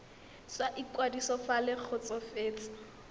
sa ikwadiso fa le kgotsofetse